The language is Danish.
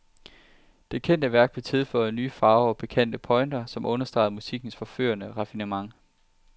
Det kendte værk blev tilføjet nye farver og pikante pointer, som understregede musikkens forførende raffinement.